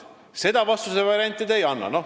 Seda vastusevarianti te ei andnud.